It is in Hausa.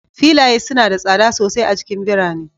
Filaye suna da tsada sosai a cikin birane